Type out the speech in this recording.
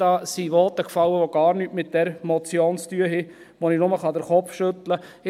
Da sind Voten gefallen, die gar nichts mit dieser Motion zu tun haben und bei denen ich nur den Kopf schütteln kann.